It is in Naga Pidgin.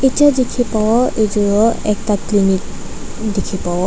etia dikhi pawo etu ekta clinic dikhi pavo.